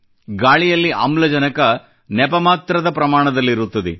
ಗಾಳಿಯಲ್ಲಿ ಆಮ್ಲಜನಕ ನೆಪಮಾತ್ರದ ಪ್ರಮಾಣದಲ್ಲಿರುತ್ತದೆ